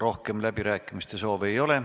Rohkem läbirääkimise soove ei ole.